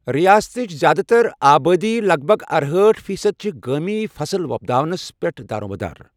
رِیاستٕچ زِیٛادٕ تر آبٲدی لَگ بَگ ارہأٹھ فی صٔدی چھِ گٲمی فَصٕل وۄپداونَس پٮ۪ٹھ دارٕمدار۔